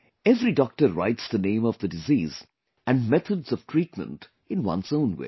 Every doctor writes the name of the disease and methods of treatment in one's own way